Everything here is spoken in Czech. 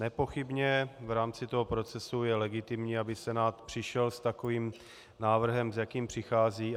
Nepochybně v rámci toho procesu je legitimní, aby Senát přišel s takovým návrhem, s jakým přichází.